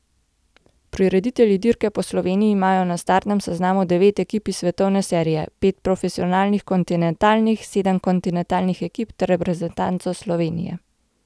Prireditelji dirke Po Sloveniji imajo na startnem seznamu devet ekip iz svetovne serije, pet profesionalnih kontinentalnih, sedem kontinentalnih ekip ter reprezentanco Slovenije.